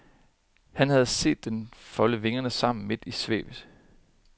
Han havde set den folde vingerne sammen midt i svævet.